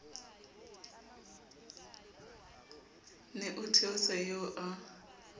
ne o theosa eo ya